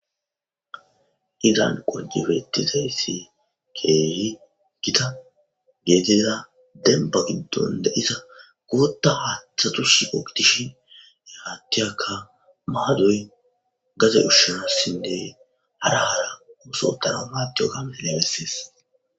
Izan qojebetizayssi keehi gitta gidiza denba giddon de'iza booththa haaththatus shiqo gidishin he haattiyakka maadoy gade ushshanassine hara hara ooso tana aatiyogga ha misiley bessees